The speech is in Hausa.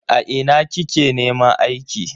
A ina kike neman aiki?